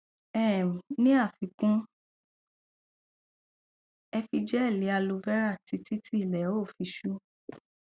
um ní àfikún ẹ fi gẹẹli aloe vera títí tí ilẹ ó fi ṣú